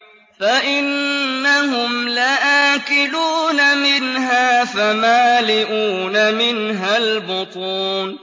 فَإِنَّهُمْ لَآكِلُونَ مِنْهَا فَمَالِئُونَ مِنْهَا الْبُطُونَ